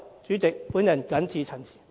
主席，我謹此陳辭。